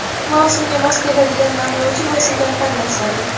mavsumga mos keladigan namlovchi vositani tanlash zarur.